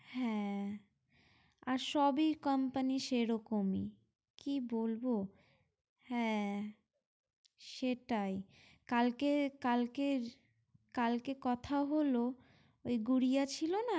হ্যাঁ আর সবি company সেরকমই কি বলবো? হ্যাঁ সেটাই কালকে কালকে কালকে কথা হলো ওই গুড়িয়া ছিল না